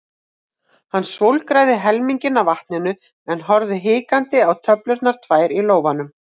Hann svolgraði helminginn af vatninu en horfði hikandi á töflurnar tvær í lófanum.